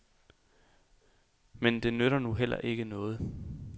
Men det nytter nu heller ikke noget.